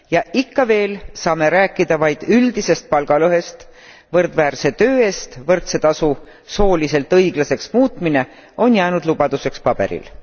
Ja ikka veel saame rääkida vaid üldisest palgalõhest, võrdväärse töö eest võrdse tasu sooliselt õiglaseks muutmine on jäänud lubaduseks paberil.